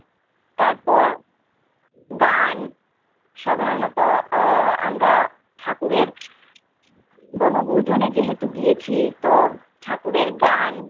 তারপর দান সাধাণত ওহ আমরা ঠাকুরে বনভূজন যেহেতু গিয়েছি তো ঠাকুরে গান